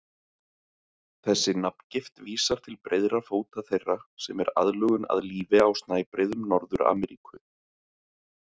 Þessi nafngift vísar til breiðra fóta þeirra, sem er aðlögun að lífi á snæbreiðum Norður-Ameríku.